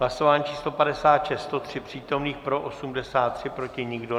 Hlasování číslo 56. 103 přítomných, pro 83, proti nikdo.